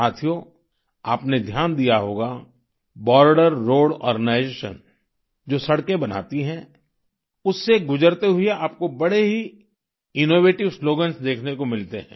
साथियो आपने ध्यान दिया होगा बॉर्डर रोड आर्गेनाइजेशन जो सड़कें बनाती है उससे गुजरते हुए आपको बड़े ही इनोवेटिव स्लोगन्स देखने को मिलते हैं